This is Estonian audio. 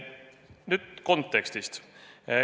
Nüüd kontekstist.